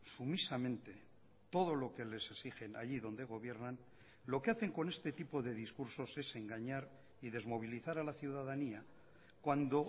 sumisamente todo lo que les exigen allí donde gobiernan lo que hacen con este tipo de discursos es engañar y desmovilizar a la ciudadanía cuando